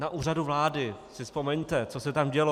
Na Úřadu vlády, si vzpomeňte, co se tam dělo.